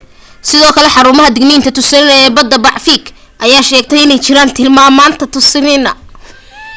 sidoo kale xaruunta digniinta tsunami ee badda pacific ayaa sheegtay inay jirin tilmaanta tsunami